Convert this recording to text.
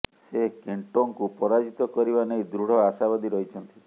ସେ କେଣ୍ଟୋଙ୍କୁ ପରାଜିତ କରିବା ନେଇ ଦୃଢ଼ ଆଶାବାଦୀ ରହିଛନ୍ତି